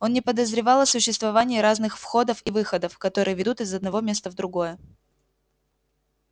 он не подозревал о существовании разных входов и выходов которые ведут из одного места в другое